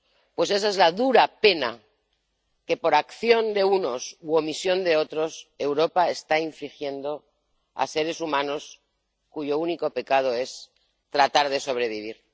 Pues esa es la dura pena que, por acción de unos u omisión de otros, Europa está infligiendo a seres humanos cuyo único pecado es tratar de sobrevivir.